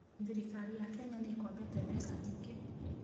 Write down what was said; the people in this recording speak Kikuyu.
Thirikari ya Kenya nĩ ĩkombete mbeca nyingĩ.